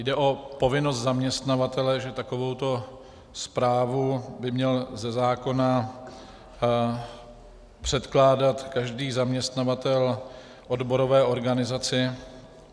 Jde o povinnost zaměstnavatele, že takovouto zprávu by měl ze zákona předkládat každý zaměstnavatel odborové organizaci.